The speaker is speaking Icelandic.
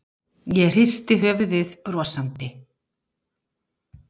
Ég hristi höfuðið brosandi.